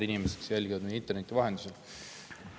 Head inimesed, kes jälgivad meid interneti vahendusel!